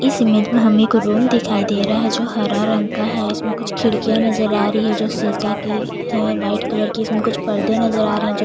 इस इमेज में हमें एक रूम दिखाई दे रहा है जो हरा रंग का है इसमें कुछ खिड़कियां नजर आ रही है जो शीशा के है वाइट कलर के इसमें कुछ पर्दे नज़र आ रहे हैं जो --